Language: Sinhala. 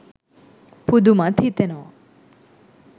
පුදුමත් හිතෙනවා.